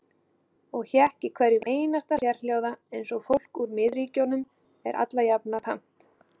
Og hékk í hverjum einasta sérhljóða eins og fólki úr miðríkjunum er allajafna tamt.